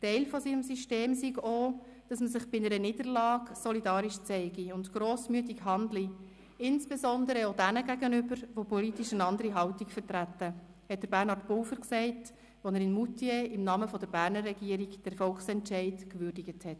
Teil dieses Systems sei auch, dass man sich bei einer Niederlage solidarisch zeige und grossmütig handle, insbesondere auch denen gegenüber, die politisch eine andere Haltung vertreten, sagte Bernhard Pulver, als er in Moutier im Namen der Berner Regierung den Volksentscheid würdigte.